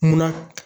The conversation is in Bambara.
Munna